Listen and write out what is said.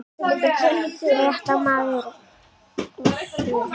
Fréttamaður: Össur Skarphéðinsson lítur svo á að þú hafir goldið jáyrði við þessari bón hans?